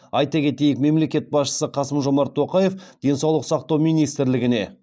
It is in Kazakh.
айта кетейік мемлекет басшысы қасым жомарт тоқаев денсаулық сақтау министрлігіне